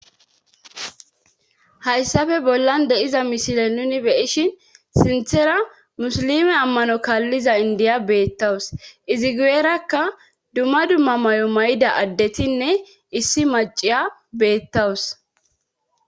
hayssafe bollan de7iza misile nuni beyishin sinthera musilime ammano kaalliza indiya beettawus izi guyeerakka dumma dumma may7o may7da addetinne issi maciya beettawus